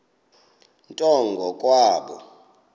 nto ngo kwabo